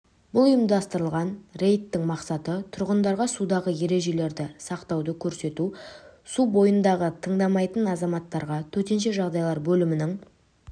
бұл ұйымдастырылған рейдтің мақсаты тұрғындарға судағы ережелерді сақтауды көрсету су бойындағы тыңдамайтын азаматтарға төтенше жағдайлар бөлімінің